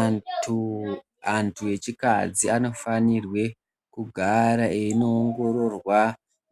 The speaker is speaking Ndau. Antu antu echikadzi anofanirwe kugara einoongororwa,